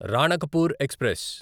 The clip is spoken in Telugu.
రాణకపూర్ ఎక్స్ప్రెస్